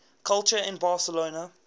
culture in barcelona